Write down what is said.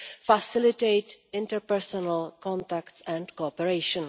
facilitate interpersonal contacts and cooperation.